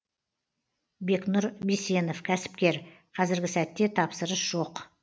бекнұр бисенов кәсіпкер қазіргі сәтте тапсырыс жоқ